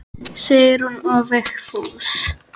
Sigrún og Vigfús.